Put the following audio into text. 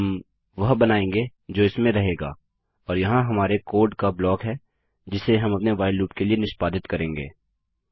हम वह बनाएँगे जो इसमें रहेगा और यहाँ हमारे कोड का ब्लॉक है जिसे हम अपने व्हाइल लूप के लिए निष्पादित करेंगे